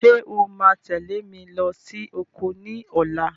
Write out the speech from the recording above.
Ṣé o máa tẹ̀lé mi lọ sí oko ní ọ̀la?